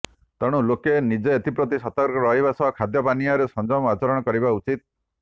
ତେଣୁ ଲୋକେ ନିଜେ ଏଥିପ୍ରତି ସତର୍କ ରହିବାସହ ଖାଦ୍ୟପାନୀୟରେ ସଂଯମ ଆଚରଣ କରିବା ଉଚିତ